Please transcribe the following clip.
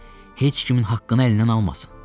Heç kimin haqqını əlindən almasın.